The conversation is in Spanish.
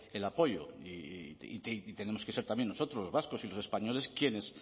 el apoyo y tenemos que ser también nosotros los vascos y los españoles quienes